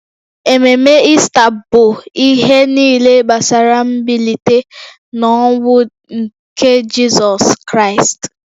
Ememe Ista bụ ihe niile gbasara mbilite n’ọnwụ nke Jizọs Kraịst